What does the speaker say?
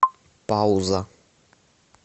пауза